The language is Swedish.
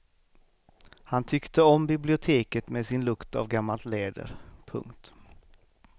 Han tyckte om biblioteket med sin lukt av gammalt läder. punkt